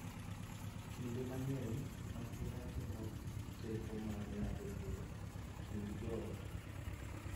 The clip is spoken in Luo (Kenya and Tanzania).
Kinde mang�eny, masira temo teko mar ng�ado bura e kind joot,